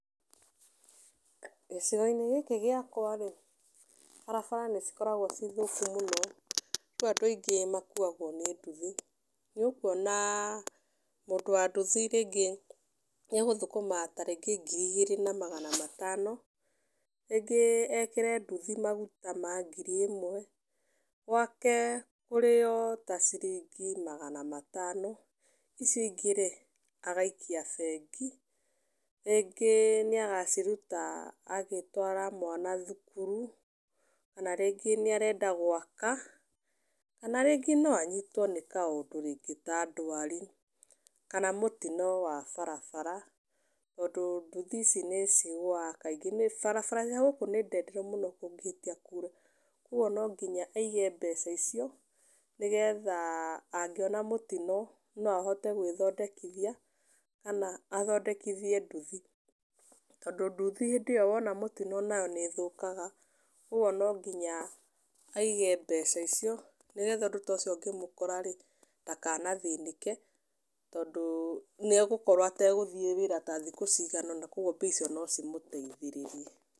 Gĩcigo-inĩ gĩkĩ gĩakwa-rĩ, barabara nĩcikoragwo ciĩ thũku mũno, rĩu andũ aingĩ makuagwo nĩ nduthi. Nĩũkuona mũndũ wa nduthi rĩngĩ nĩegũthũkũma ta rĩngĩ ngiri igĩrĩ na magana matano, rĩngĩ ekĩre nduthi maguta ma ngiri ĩmwe, gwake kũrĩo ta ciringi magana matano, icio ingĩ-rĩ agaikia bengi, rĩngĩ nĩagaciruta agĩtwara mwana thukuru, kana rĩngĩ nĩarenda gwaka, kana rĩngĩ no anyitwo nĩ kaũndũ rĩngĩ ta ndwari kana mũtino wa barabara, tondũ nduthi ici nĩcigũaga kaingĩ, barabara cia gũkũ nĩ ndenderu mũno kũngĩhĩtia kure, kuoguo no nginya aige mbeca icio nĩgetha angĩona mũtino no ahote gwĩthondekithia kana athondekithie nduthi, tondũ nduthi hĩndĩ ĩyo wona mũtino nayo nĩĩthũkaga, ũguo no nginya aige mbeca icio, nĩgetha ũndũ ta ũcio ũngĩmũkora-rĩ ndakanathĩnĩke tondũ nĩegũkorwo ategũthiĩ wĩra ta thikũ cigana ũna koguo mbia icio nocimũteithĩrĩrie.